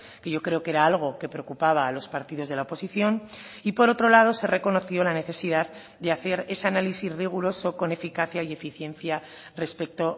que yo creo que era algo que preocupaba a los partidos de la oposición y por otro lado se reconoció la necesidad de hacer ese análisis riguroso con eficacia y eficiencia respecto